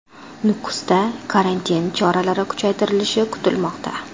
Nukusda karantin choralari kuchaytirilishi kutilmoqda.